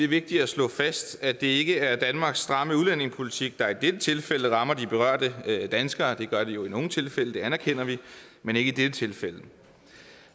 vigtigt at slå fast at det ikke er danmarks stramme udlændingepolitik der i dette tilfælde rammer de berørte danskere det gør den jo i nogle tilfælde det anerkender vi men ikke i dette tilfælde